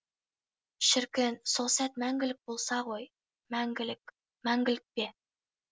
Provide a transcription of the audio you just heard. шіркін сол сәт мәңгілік болса ғой мәңгілік мәңгілік пе